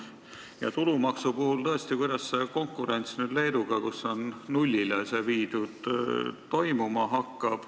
Kuidas hakkab tulumaksu puhul toimuma konkurents Leeduga, kus see on nullile viidud?